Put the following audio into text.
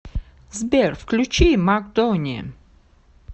сбер включи мак дони